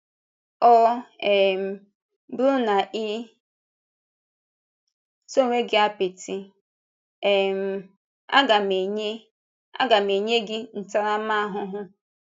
Ọ̀ um bụrụ na ị̀ tee onwe gị apịtị, um aga m enye aga m enye gị ntàramahụhụ.”